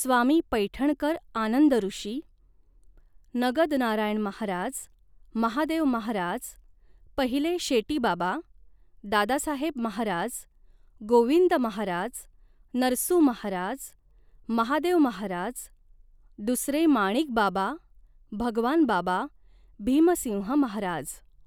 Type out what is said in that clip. स्वामी पैठणकर आनंदॠषी, नगदनारायण महाराज, महादेव महाराज पहिले शेटीबाबा, दादासाहेब महाराज गोविंद महाराज नरसू महाराज महादेव महाराज दुसरे माणिकबाबा भगवानबाबा भीमसिंह महाराज